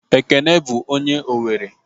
Ekene bụ onye Owere